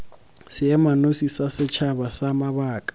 seemanosi sa setšhaba sa mabaka